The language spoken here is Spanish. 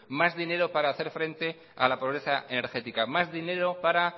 más dinero para hacer frente a la pobreza energética más dinero para